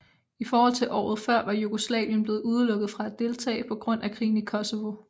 I forhold til året før var Jugoslavien blevet udelukket fra at deltage på grund af krigen i Kosovo